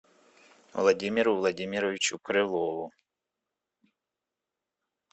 владимиру владимировичу крылову